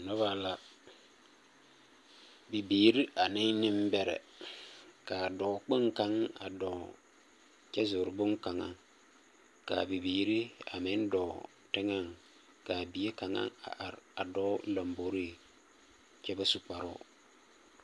Noba la, bibiiri ane nembɛrɛ. Ka dɔɔ kpoŋ kaŋa a dɔɔ kyɛ zori boŋkaŋa, kaa bibiiri a meŋ dɔɔ teŋaŋ, kaa bie kaŋa a are a dɔɔ lombori, kyɛ ba su kparoo.